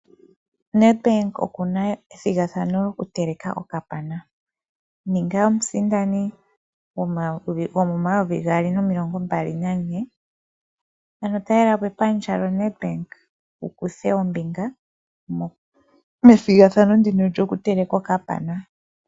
Nedbank okuna ethigathano okuteleka okapana . Ninga omusindani go2024. Ano talelapo epandja lyoNedbank wukuthe ombinga methigathano lyokuteleka okapana.